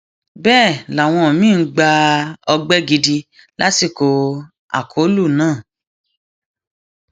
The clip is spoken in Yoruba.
bẹẹ làwọn míín gba ọgbẹ gidi lásìkò akólú náà